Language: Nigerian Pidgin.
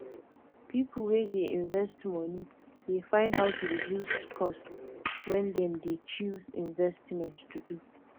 people wey dey invest money dey find how to reduce cost when dem dey choose investment to do